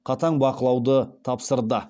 қатаң бақылауды тапсырды